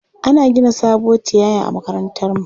Ana gina sabuwar tiyaya a makarantarmu.